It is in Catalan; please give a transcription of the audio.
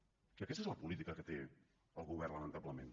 i aquesta és la política que té el govern lamentablement